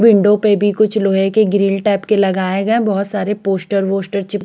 window पे भी कुछ लोहे के ग्रिल टाइप का कुछ लगाया गया बहोत सारे पोस्टर वोस्टर चिप--